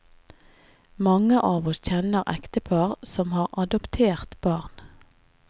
Mange av oss kjenner ektepar som har adoptert barn.